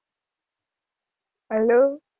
Hello